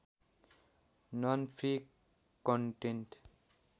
non free content